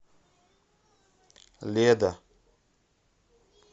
леда